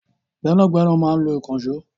Gbẹ́nàgbẹ́nà máa ń lo ìkànṣọ́